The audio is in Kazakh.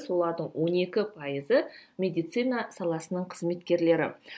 солардың он екі пайызы медицина саласының кызметкерлері